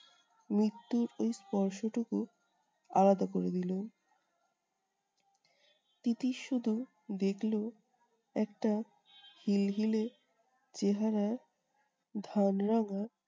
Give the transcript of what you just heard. মৃত্যুর ওই স্পর্শটুকু আলাদা করে দিলো। তিতির শুধু দেখলো একটা হিলহিলে চেহারার